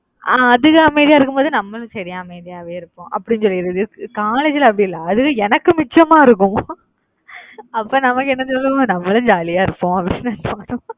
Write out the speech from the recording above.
அஹ் அதுக அமைதியா இருக்கும்போது நம்மளும் சரி அமைதியாவே இருப்போம். அப்படின்னு சொல்லிடறது college ல அப்படி இல்லை அதுக எனக்கு மிச்சமா இருக்கும் அப்ப நமக்கு என்ன சொல்லுவோம் நம்மளும் jolly யா இருப்போம். அப்படினு நினச்சுப்போம்